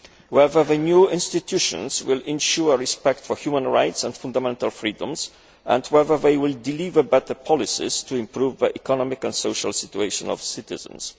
whether the new institutions will ensure respect for human rights and fundamental freedoms and whether they will deliver better policies to improve the economic and social situation of the citizens.